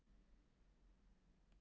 Deilt um hunda í héraðsdómi